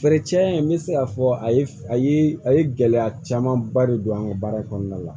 Feere cɛn n bɛ se k'a fɔ a ye a ye a ye gɛlɛya camanba de don an ka baara in kɔnɔna la